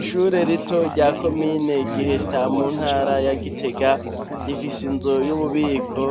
Ishure rito rya Komine Giheta mu ntara ya Gitega rifise inzu y'ububiko